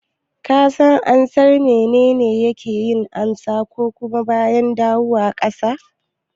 Ka san ansar "Menene yake yin sama kuma baya dawowa ƙasa"?